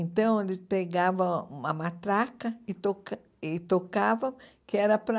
Então, ele pegava uma matraca e toca e tocava, que era para...